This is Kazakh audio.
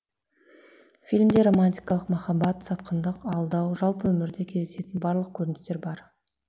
фильмде романтикалық махаббат сатқындық алдау жалпы өмірде кездесетін барлық көріністер бар